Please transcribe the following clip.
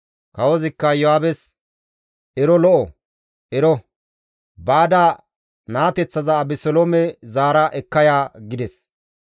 Kawozikka Iyo7aabes, «Ero lo7o; ero; baada naateththaza Abeseloome zaara ekka ya» gides.